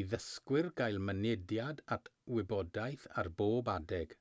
i ddysgwyr gael mynediad at wybodaeth ar bob adeg